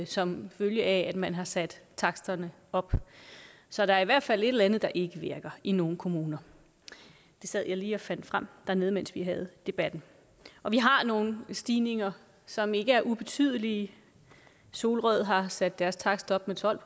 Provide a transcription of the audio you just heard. som følge af at man har sat taksterne op så der er i hvert fald et eller andet der ikke virker i nogle kommuner det sad jeg lige og fandt frem dernede mens vi havde debatten vi har nogle stigninger som ikke er ubetydelige solrød har sat deres takst op med tolv